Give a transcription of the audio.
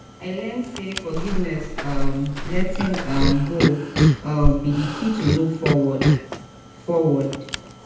i learn say forgiveness um and letting um go um be di key to move forward. forward.